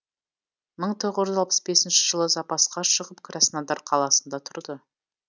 мың тоғыз жүз алпыс бесінші жылы запасқа шығып краснодар қаласында тұрды